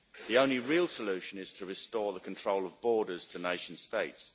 The only real solution is to restore the control of borders to nation states.